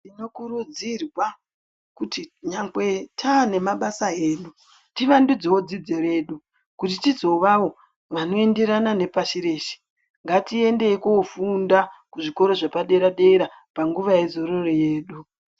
Tinokurudzirwa kuti nyangwe taane mabasa edu tivandudzewo dzidzo yedu kuti tizovawo vanoenderana nepashi reshe ngatiendei kofunda kuzvikora zvepadera dera nguva yezororo yedu.